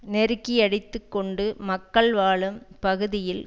நெருக்கியடித்துக் கொண்டு மக்கள் வாழும் பகுதியில்